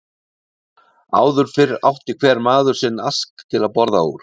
Áður fyrr átti hver maður sinn ask til að borða úr.